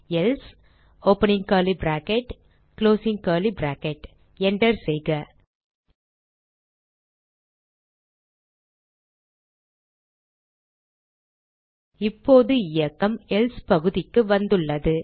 அடுத்த வரியில் எழுதுக எல்சே enter செய்க இப்போது இயக்கம் எல்சே பகுதிக்கு வந்துள்ளது